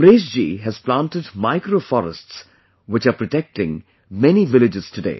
Amreshji has planted micro forests, which are protecting many villages today